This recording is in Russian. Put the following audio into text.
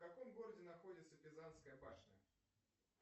в каком городе находится пизанская башня